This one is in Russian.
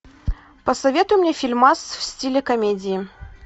посоветуй мне фильмас в стиле комедии